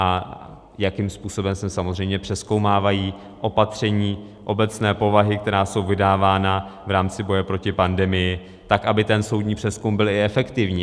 A jakým způsobem se samozřejmě přezkoumávají opatření obecné povahy, která jsou vydávána v rámci boje proti pandemii, tak aby ten soudní přezkum byl i efektivní.